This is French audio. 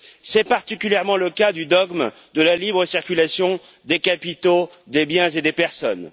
C'est particulièrement le cas du dogme de la libre circulation des capitaux, des biens et des personnes.